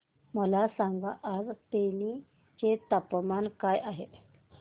मला सांगा आज तेनी चे तापमान काय आहे